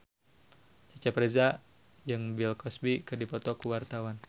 Cecep Reza jeung Bill Cosby keur dipoto ku wartawan